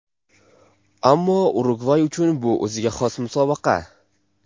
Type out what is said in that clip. Ammo Urugvay uchun bu o‘ziga xos musobaqa.